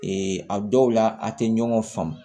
a dɔw la a tɛ ɲɔgɔn faamu